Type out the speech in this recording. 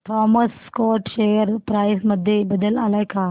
Thomas Scott share price मध्ये बदल आलाय का